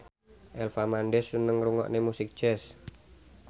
Eva Mendes seneng ngrungokne musik jazz